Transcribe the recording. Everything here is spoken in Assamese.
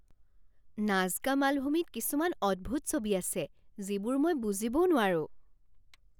নাজকা মালভূমিত কিছুমান অদ্ভুত ছবি আছে যিবোৰ মই বুজিবও নোৱাৰোঁ!